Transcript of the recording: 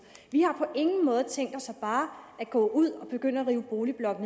vi har på ingen måde tænkt os bare at gå ud og begynde at rive boligblokke